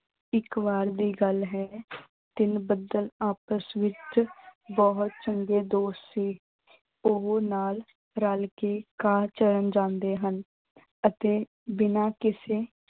ਇੱਕ ਵਾਰ ਦੀ ਗੱਲ ਹੈ ਤਿੰਨ ਬੱਦਲ ਆਪਸ ਵਿੱਚ ਬਹੁਤ ਚੰਗੇ ਦੋਸਤ ਸੀ। ਉਹ ਨਾਲ ਰਲ ਕੇ ਘਾਹ ਚਰਨ ਜਾਂਦੇ ਹਨ ਅਤੇ ਬਿਨਾਂ ਕਿਸੇ